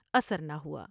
اثر نہ ہوا ۔